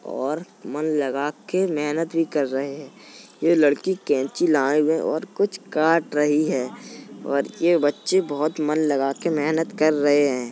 और मन लगा के मेहनत भी कर रहे हैं। ये लड़की कैंची लाए हुए और कुछ काट रही है और ये बच्चे बोहोत मन लगा के मेहनत कर रहे हैं।